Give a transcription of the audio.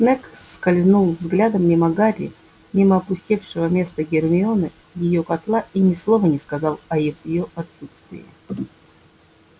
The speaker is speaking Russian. снегг скользнул взглядом мимо гарри мимо опустевшего места гермионы её котла и ни слова не сказал о её отсутствии